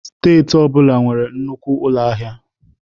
Steeti ọ bụla nwere nnukwu ụlọ ahịa.